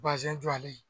jɔlen